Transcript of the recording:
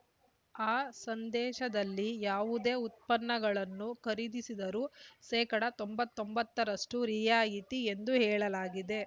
ಆ ಸಂದೇಶದಲ್ಲಿ ಯಾವುದೇ ಉತ್ಪನ್ನಗಳನ್ನು ಖರೀದಿಸಿದರೂ ಶೇಕಡಾ ತೊಂಬತ್ತೊಂಬತ್ತರಷ್ಟು ರಿಯಾಯಿತಿ ಎಂದು ಹೇಳಲಾಗಿದೆ